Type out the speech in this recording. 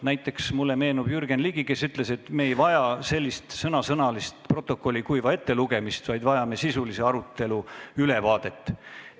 Näiteks meenub mulle Jürgen Ligi, kes ütles, et me ei vaja sellist kuiva protokolli sõnasõnalist ettelugemist, vaid vajame sisulise arutelu ülevaadet.